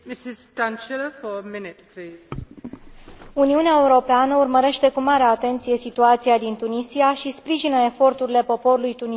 Uniunea Europeană urmărește cu mare atenție situația din Tunisia și sprijină eforturile poporului tunisian pentru o tranziție pașnică spre democrație.